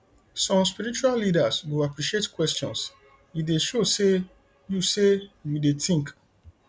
some spiritual leaders go appreciate questions e dey show say you say you dey think